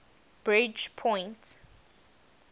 bridgepoint